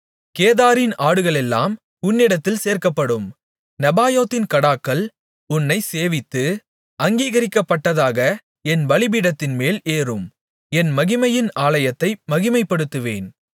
கேதாரின் ஆடுகளெல்லாம் உன்னிடத்தில் சேர்க்கப்படும் நெபாயோத்தின் கடாக்கள் உன்னைச் சேவித்து அங்கீகரிக்கப்பட்டதாக என் பலிபீடத்தின்மேல் ஏறும் என் மகிமையின் ஆலயத்தை மகிமைப்படுத்துவேன்